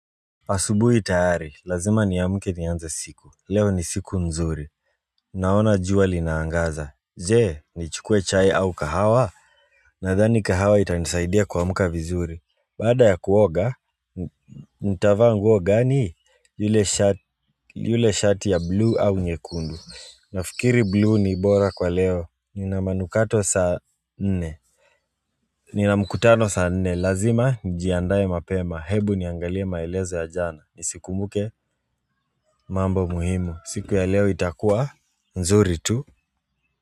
Asubuhi tayari, lazima niamke nianze siku, leo ni siku nzuri Naona jua linaangaza je, ni chukue chai au kahawa Nadhani kahawa ita nisaidia kuamka vizuri Bada ya kuoga, ntavaa nguo gani yule shati ya blue au nyekundu Nafikiri blue ni bora kwa leo Nina manukato saa nne Nina mkutano saa nne, lazima nijiandae mapema, hebu niangalie maelezo ya jana, nisikumuke mambo muhimu. Siku ya leo itakuwa nzuri tu.